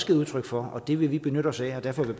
givet udtryk for det vil vi benytte os af derfor vil